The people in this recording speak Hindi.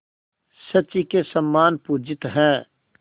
शची के समान पूजित हैं